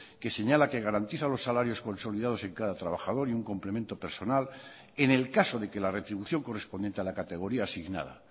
que señala que garantiza los salarios consolidados en cada trabajador y un complemento personal en el caso de que la retribución correspondiente a la categoría asignada